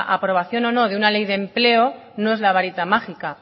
aprobación o no de una ley de empleo no es la varita mágica